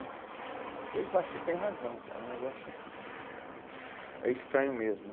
E eles falavam, você tem razão, cara, o negócio é estranho mesmo.